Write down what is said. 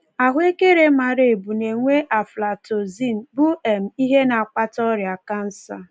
Ahụekere mara ebu na-enwe aflatoxin, bụ um ihe na-akpata ọrịa kansa.